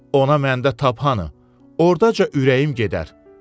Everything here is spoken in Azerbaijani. Ona məndə tabanı, ordaca ürəyim gedər.